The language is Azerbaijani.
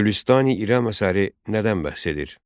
Gülüstan-i İrəm əsəri nədən bəhs edir?